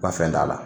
Ba fɛn t'a la